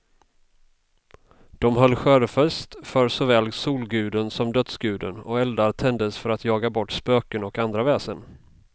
De höll skördefest för såväl solguden som dödsguden, och eldar tändes för att jaga bort spöken och andra väsen.